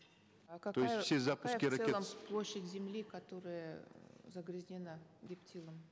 а какая в целом площадь земли которая загрязнена гептилом